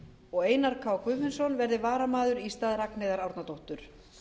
og einar k guðfinnsson verði varamaður í stað ragnheiðar árnadóttur